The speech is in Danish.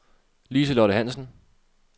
Lise-Lotte Hansen